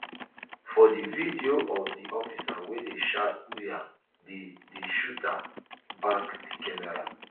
for di video of di officer wey dey shout uaa di di shooter back di camera